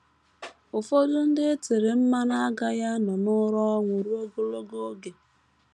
Ụfọdụ ndị e tere mmanụ agaghị anọ n’ụra ọnwụ ruo ogologo oge.